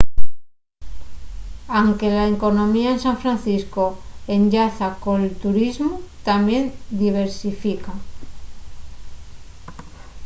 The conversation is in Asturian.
anque la economía de san francisco enllaza col turismu tamién diversifica